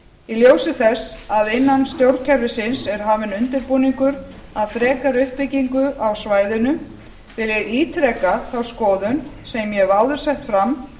í ljósi þess að innan stjórnkerfisins er hafinn undirbúningur að frekari uppbyggingu á svæðinu vil ég ítreka þá skoðun sem ég hef áður sett fram